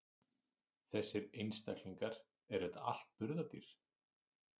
Þessir einstaklingar, eru þetta allt burðardýr?